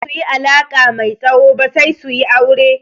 Baza su yi alaƙa mai tsawo ba sai su yi aure.